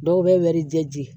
Dɔw bɛ wɛrije